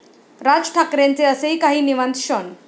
राज ठाकरेंचे असेही काही निवांत क्षण!